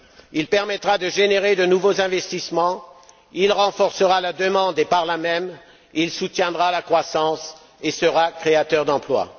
Il permettra de générer de nouveaux investissements, il renforcera la demande et par là même, il soutiendra la croissance et sera créateur d'emplois.